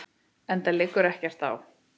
Enda liggur ekkert á.